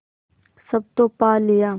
सब तो पा लिया